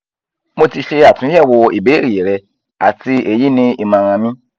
mo ti ṣe atunyẹwo ibeere rẹ ati eyi ni imọran mi